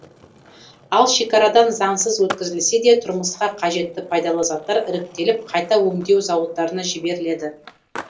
ал шекарадан заңсыз өткізілсе де тұрмысқа қажетті пайдалы заттар іріктеліп қайта өңдеу зауыттарына жіберіледі